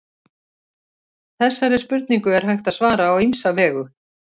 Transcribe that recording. Þessari spurningu er hægt að svara á ýmsa vegu.